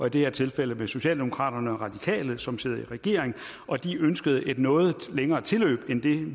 i det her tilfælde med socialdemokraterne og radikale som sidder i regering og de ønskede et noget længere tilløb end det